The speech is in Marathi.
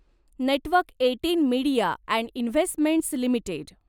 network eighteen media and investments limited